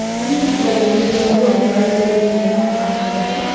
ಈ ಚಿತ್ರದಲ್ಲಿ ಜನರು ಒಂದು ಕಡೆ ಸೇರಿರುವುದನ್ನು ನಾವು ಕಾಣಬಹುದು.